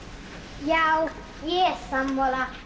já ég er sammála